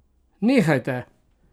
Nehajte!